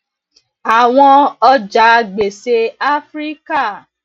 àwọn ọjà gbèsè áfíríkà